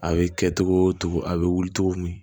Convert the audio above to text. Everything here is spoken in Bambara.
A bɛ kɛ togo togo a bɛ wuli cogo min